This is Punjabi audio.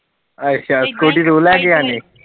ਅੱਛਾ ਤੂੰ ਲੇਕੇ ਜਾਦੀ